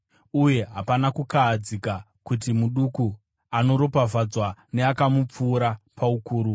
Uye hapana kukahadzika kuti muduku anoropafadzwa neakamupfuura paukuru.